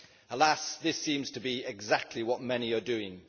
Alas, this seems to be exactly what many are doing.